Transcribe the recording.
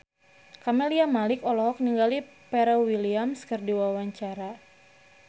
Camelia Malik olohok ningali Pharrell Williams keur diwawancara